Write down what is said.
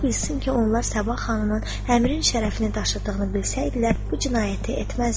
Ola bilsin ki, onlar Sabah xanımın Əmirin şərəfini daşıdığını bilsəydilər, bu cinayəti etməzdilər.